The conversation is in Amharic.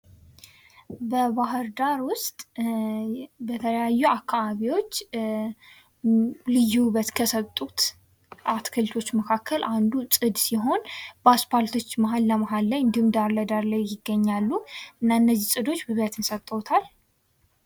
በባህርዳር ውስጥ በተለያዩ አካባቢዎች ልዩ ውበት ከሰጡ አትክልቶች መካከል አንዱ ጽድ ሲሆን በአስፓልቶች መሀል ለመሀል ላይ እንዲሁም ዳር ለዳር ላይ ይገኛሉ። እና እነዚህ ጽዶች ውበትን ሰጥተውታል።